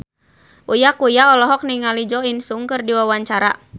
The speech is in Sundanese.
Uya Kuya olohok ningali Jo In Sung keur diwawancara